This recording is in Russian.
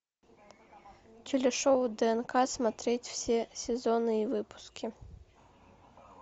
телешоу днк смотреть все сезоны и выпуски